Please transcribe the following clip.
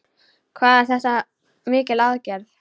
Hvað er þetta mikil aðgerð?